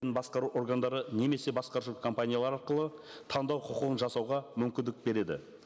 басқару органдары немесе басқарушы компания арқылы таңдау құқығын жасауға мүмкіндік береді